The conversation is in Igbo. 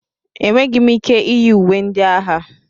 Enweghị m ike iyi uwe ndị agha.